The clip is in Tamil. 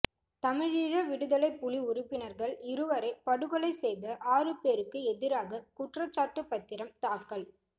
தமிழீழ விடுதலைப் புலி உறுப்பினர்கள் இருவரை படுகொலை செய்த ஆறு பேருக்கு எதிராக குற்றச்சாட்டுப் பத்திரம் தாக்கல்